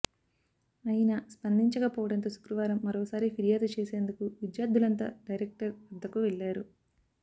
అయినా స్పందించకపోవడంతో శుక్రవారం మరోసారి ఫిర్యాదు చేసేందుకు విద్యార్థులంతా డైరెక్టర్ వద్దకు వెళ్లారు